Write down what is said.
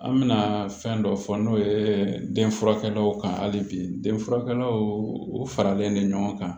An bɛna fɛn dɔ fɔ n'o ye den furakɛlaw kan hali bi denfurakɛlaw u faralen don ɲɔgɔn kan